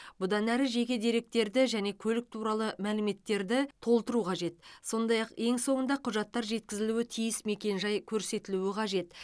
бұдан әрі жеке деректерді және көлік туралы мәліметтерді толтыру қажет сондай ақ ең соңында құжаттар жеткізілуі тиіс мекенжай көрсетілуі қажет